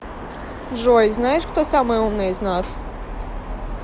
джой знаешь кто самый умный из нас